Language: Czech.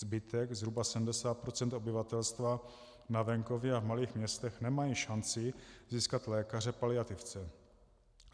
Zbytek, zhruba 70 % obyvatelstva na venkově a v malých městech, nemá šanci získat lékaře paliativce.